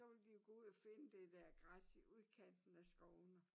Så ville de jo gå ud og finde det der græs i udkanten af skovene